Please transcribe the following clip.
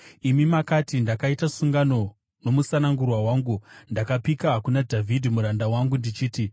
Imi makati, “Ndakaita sungano nomusanangurwa wangu, ndakapika kuna Dhavhidhi muranda wangu, ndichiti,